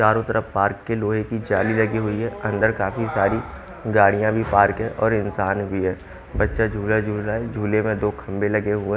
चारों तरफ पार्क के लोहे की जाली लगी हुई है अंदर काफी सारी गाड़ियां भी पार्क हैं और इंसान भी है बच्चा झूला झूल रहा है झूले में दो खंभे लगे हुए हैं।